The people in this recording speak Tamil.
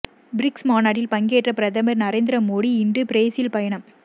பிரிக்ஸ் மாநாட்டில் பங்கேற்க பிரதமர் நரேந்திர மோடி இன்று பிரேசில் பயணம்